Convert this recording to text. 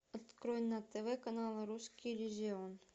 открой на тв канал русский иллюзион